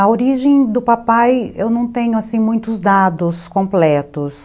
A origem do papai, eu não tenho assim, muitos dados completos.